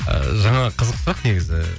ыыы жаңағы қызық сұрақ негізі